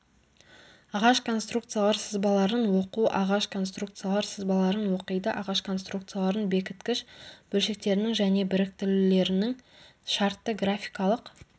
ағаш конструкциялар сызбаларын оқу ағаш конструкциялар сызбаларын оқиды ағаш конструкциялардың бекіткіш бөлшектерінің және біріктірулерінің шартты графикалық